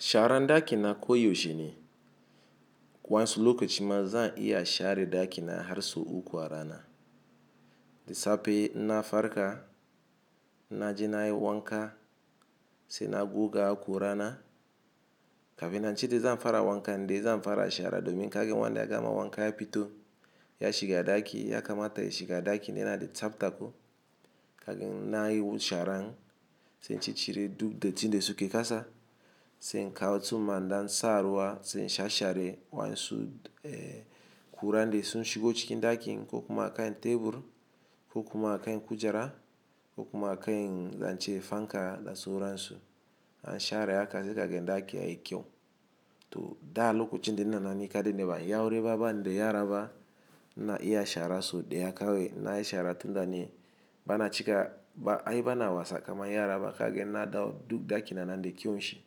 Shara ɗaki na ko yaushe ne. Wansu lokaci ma zan iya share ɗaki na har sau uku a rana. Da safe inna farka, inna je na yi wanka sai na goga aku rana, kafin anji da zan fara wanka, dai zan fara share domin kagin wanda ya gama wanka ya fito, ya shiga ɗaki ya kamata ya shiga ɗaki nena da tsaftaku. Kagan na yo sharan sai in ci cire duk datin da suke kasa, sai in kawo tsumma dan sa ruwa sai in sha share wansu, eh, kura da sun shigo cikin ɗakin ko kuma a kain tebur ko kuma a kain kujera ko kuma a kain zance fanka da su wurin su. An share haka sai kagin ɗaki yayi kyau. To da lokacin da ina na ni kade ne ba aure ba ban dai yara ba, na iya share so dai akawe na yi share tun da ne bana cika, ba, ai bana wasa kamar yara ba kagin na dawo duk ɗaki na nan dai kyau shi.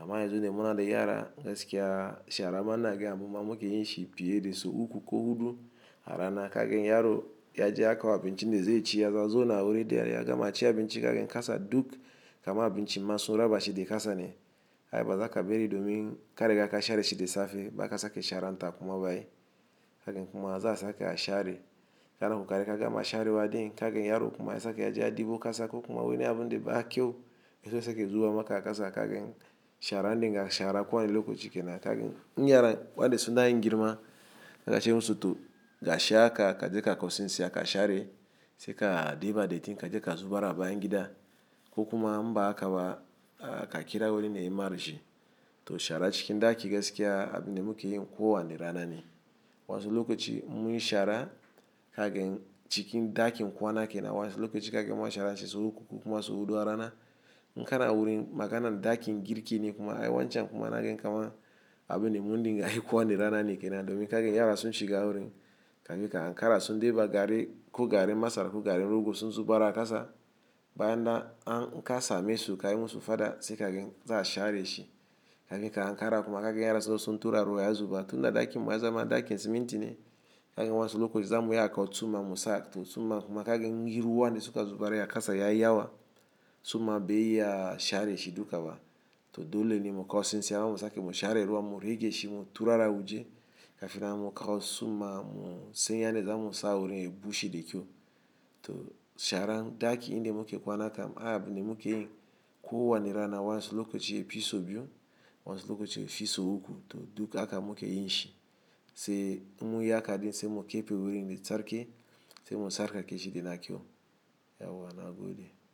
Amma yanzu da muna dai yara gaskiya shara manna game abin mamaki yin shi fiye da sau uku ko hudu a rana kagan yaro ya je ya kawo abinci nade zai ci, ya zazo na wuri dai yayi gama ci abinci kagin kasa duk kamar abinci man sun raba shi da kasa ne. Ai bazaka bari domin kare gaka share shi da safe ba zaka sake share nta kuma bayi. Kagan kuma za a sake a share. Kana ko kare gaka ma share wa dai kagin yaro kuma ya sake ya je a ɗebo kasa ko kuma wani abun dai ba kyau, yazo yake zuba maka a kasa kagin share nninga share kwan lokaci kenan kagin in yara wa dai suna yin girma, gashi musu to gashi aka ka je ka kausin sai aka share sai ka ɗiba daiti ka je ka zuba ra bayan gida ko kuma mba a ka ba ka kira wurin ne ya marshi. To share cikin ɗaki gaskiya abin da muke yin kowa ne rana ne. Wansi lokaci mun yi shara kagan cikin ɗakin kwanaken nan wansi lokaci kagin mun share sai sau uku kuma sau huɗu a rana. Inkana wurin maganan ɗakin girki ne kuma ai wancan kuma na gankama abin ne mun dinga yi kowa ne rana ne kenan domin kagin yara sun shiga wurin kafin ka ankara sun ɗiba gari ko garen masara ko garen rogo sun zuba ra a kasa bayan an n'ka same su kai musu fada sai kagin za a share shi. Kafin ka ankara kuma kagan yara su su turara waya zuba tun da ɗakin waya zama ɗakin siminti ne kagan wansu lokaci zamu yaka kawo tsumma musa to tsumma kuma kagin giruwa nade suka zuba ra a kasa yayi yawa tsumma bai iya share shi dukaba. To dole ne mu kausin sai haka musa ake mu share ruwa mu ruge shi mu turara wuje kafin mu kawo tsumma mu sai yana zamu sa wurin ya bushe da kyau. To sharan ɗaki inde muke kwanaka abin ne muke yin kowa ne rana wansi lokaci e fi sau biyu wansi lokaci e fi sau uku to duk aka muke yin shi. Sai mun yi haka dai sai mu kepe wurin da tsarke sai mu tsarka ke shi yana kyau. Ya wa na gode?